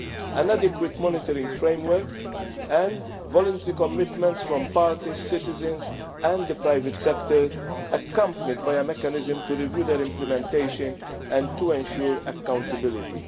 an adequate monitoring framework and voluntary commitments from parties, citizens and the private sector, accompanied by a mechanism to review their implementation and to ensure accountability.